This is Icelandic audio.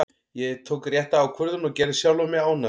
Ég tók rétta ákvörðun og gerði sjálfan mig ánægðan.